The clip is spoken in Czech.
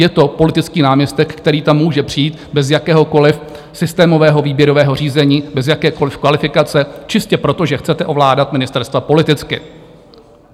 Je to politický náměstek, který tam může přijít bez jakéhokoliv systémového výběrového řízení, bez jakékoliv kvalifikace, čistě proto, že chcete ovládat ministerstva politicky.